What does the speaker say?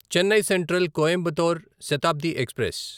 Chennai central Coimbatore Shatabdi express